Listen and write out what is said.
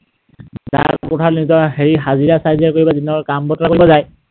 দা কুঠাৰ লৈ নিজৰ হাজিৰা চাজিৰা কৰিব, দিনৰ কাম বতৰা কৰিব যায়।